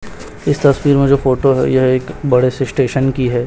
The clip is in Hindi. इस तस्वीर में जो फोटो है यह एक बड़े से स्टेशन की है।